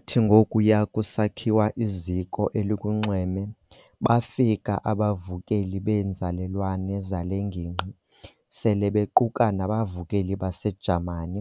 Kwathi ngokuya kusakhiwa iziko elukunxweme bafika abavukeli beenzalelwane zale ngingqi, sele bequka nabavukeli baseJamani,